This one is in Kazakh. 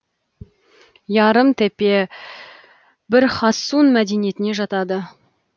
ярым тепе бір хассун мәдениетіне жатады